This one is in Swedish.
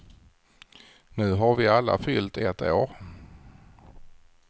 Nu har vi alla fyllt ett år.